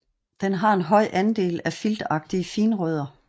Det har en høj andel af filtagtige finrødder